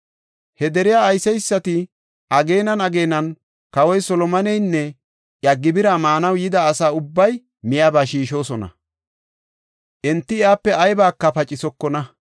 He deriya ayseysati ageenan ageenan kawoy Solomoneynne iya gibira maanaw yida asa ubbay miyaba shiishosona. Enti iyape aybaka pacisokona.